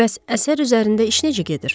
Bəs əsər üzərində iş necə gedir?